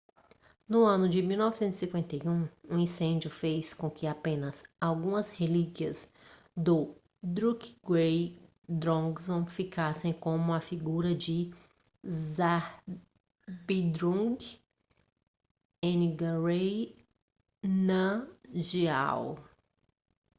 no ano de 1951 um incêndio fez com que apenas algumas relíquias do drukgyal dzong ficassem como a figura de zhabdrung ngawang namgyal